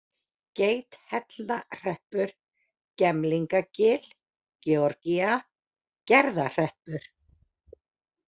Geithellnahreppur, Gemlingagil, Georgía, Gerðahreppur